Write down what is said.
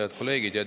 Head kolleegid!